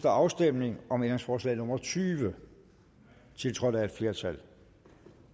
afstemning om ændringsforslag nummer tyve tiltrådt af et flertal